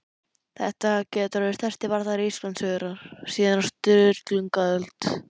Þetta getur orðið stærsti bardagi Íslandssögunnar síðan á Sturlungaöld!